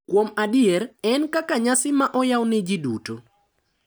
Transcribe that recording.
kuom adier, en kaka nyasi ma oyaw ne ji duto.